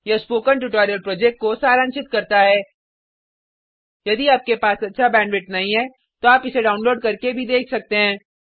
यह spoken tutorial project को सारांशित करता है यदि आपके पास अच्छा बैंडविड्थ नहीं है तो आप इसको डाउनलोड करके भी देख सकते हैं